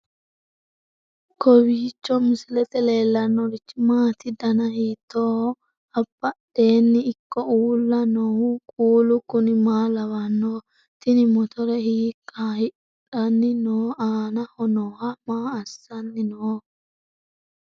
kowiicho misilete leellanorichi maati ? dana hiittooho ?abadhhenni ikko uulla noohu kuulu kuni maa lawannoho? tini motore hiikka hadhanni no aanaho noohu maa assanni nooho